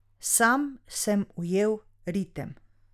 Sam sem ujel ritem.